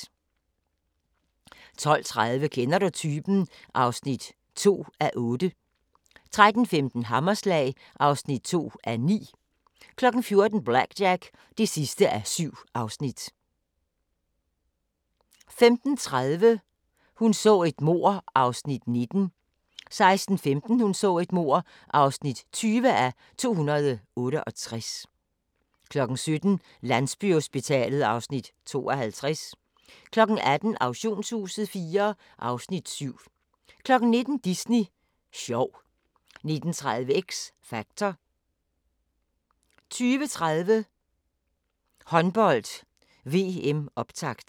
12:30: Kender du typen? (2:8) 13:15: Hammerslag (2:9) 14:00: BlackJack (7:7) 15:30: Hun så et mord (19:268) 16:15: Hun så et mord (20:268) 17:00: Landsbyhospitalet (Afs. 52) 18:00: Auktionshuset IV (Afs. 7) 19:00: Disney sjov 19:30: X Factor 20:30: Håndbold: VM - optakt